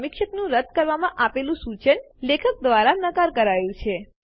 સમીક્ષકનું રદ્દ કરવા માટે આપેલુ સુચન લેખક દ્વારા નકાર કરાયું છે